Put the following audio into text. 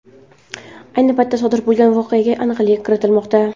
Ayni vaqtda, sodir bo‘lgan voqeaga aniqlik kiritilmoqda.